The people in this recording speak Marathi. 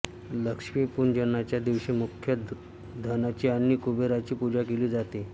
लक्ष्मीपूजनाच्या दिवशी मुख्यत धनाची आणि कुबेराची पूजा केली जाते